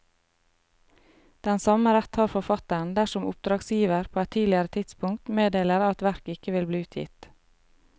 Den samme rett har forfatteren dersom oppdragsgiver på et tidligere tidspunkt meddeler at verket ikke vil bli utgitt.